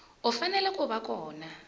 u fanele ku va kona